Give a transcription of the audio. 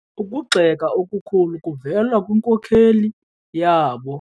Ukugxeka okukhulu kuvela kwinkokeli yabo.